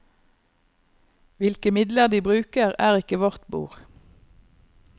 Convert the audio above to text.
Hvilke midler de bruker, er ikke vårt bord.